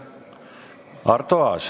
Arto Aas.